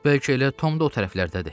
Bəlkə elə Tom da o tərəflərdədir.